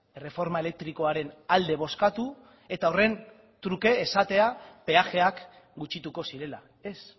erreforma elektrikoaren alde bozkatu eta horren truke esatea peajeak gutxituko zirela ez